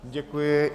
Děkuji.